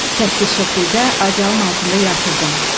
Səssiz şəkildə adyalın altında yatırdım.